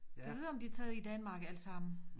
Gad vide om de er taget i Danmark allesammen